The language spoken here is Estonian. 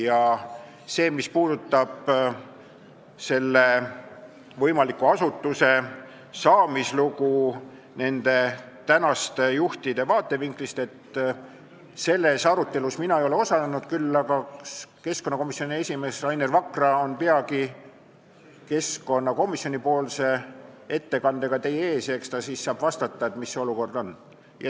Selles arutelus, mis puudutab selle võimaliku asutuse saamislugu nende tänaste juhtide vaatevinklist, mina ei ole osalenud, küll aga on keskkonnakomisjoni esimees Rainer Vakra peagi keskkonnakomisjoni ettekandega teie ees, ta saab vastata, mis see olukord on.